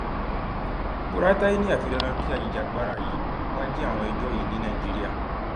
buratai ni afi dandan kí ajìjàgbara yìí wáá jẹ àwọn ẹjọ yìí ní nàìjíríà